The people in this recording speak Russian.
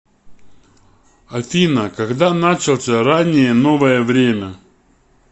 афина когда начался раннее новое время